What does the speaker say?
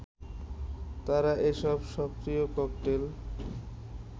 তারা এসব সক্রিয় ককটেল